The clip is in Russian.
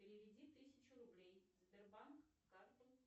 переведи тысячу рублей сбербанк карту